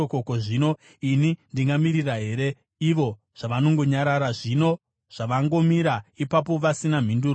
Ko, zvino ini ndingamirira here ivo zvavangonyarara, zvino zvavangomira ipapo vasina mhinduro?